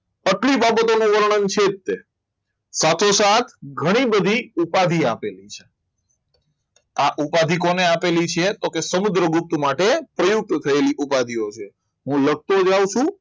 અતિ બાબતોનું વર્ણન છે જ તે સાથે સાથ ઘણી બધી ઉપાધિ આપેલી છે આ ઉપાધિ કોણે આપેલી છે તો સમુદ્રગુપ્ત માટે પ્રયુક્ત થયેલી ઉપાધી છું. હું લખતો જાઉં છું.